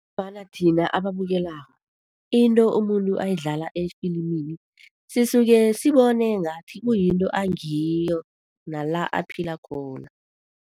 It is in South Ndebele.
Thina ababukela, into umuntu ayidlala efilimini sisuke sibone ngathi kuyinto angiyo, nala aphila khona.